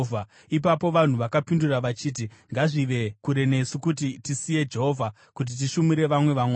Ipapo vanhu vakapindura vachiti, “Ngazvive kure nesu kuti tisiye Jehovha kuti tishumire vamwe vamwari!